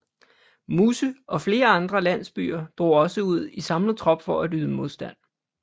Musse og flere andre landsbyer drog også ud i samlet trop for at yde modstand